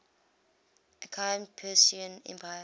achaemenid persian empire